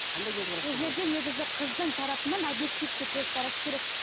қандай көзқараста бұл жерде негізі қыздың тарапынан обьективті көзқарас керек